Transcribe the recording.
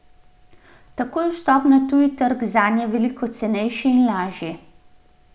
Tako je vstop na tuji trg zanje veliko cenejši in lažji.